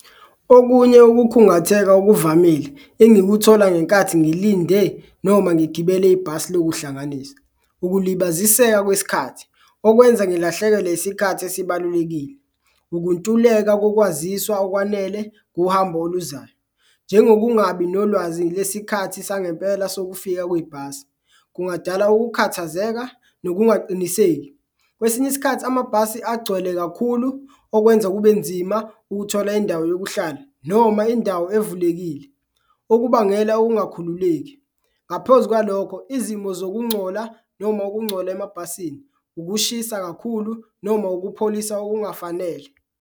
Okunye ukukhungatheka okuvamile engikuthola ngenkathi ngilinde noma ngigibele ibhasi lokuhlanganisa, ukulibaziseka kwesikhathi okwenza ngilahlekelwe isikhathi esibalulekile. Ukuntuleka kokwaziswa okwanele uhambo oluzayo, njengokungabi nolwazi lesikhathi sangempela sokufika kwibhasi kungadala ukukhathazeka, nokungaqiniseki, kwesinye isikhathi amabhasi agcwele kakhulu okwenza kube nzima ukuthola indawo yokuhlala noma indawo evulelekile, okubangela ongakhululeki. Ngaphezu kwalokho, izimo zokuncola noma okuncola emabhasini, ukushisa kakhulu noma ukupholisa okungafanele.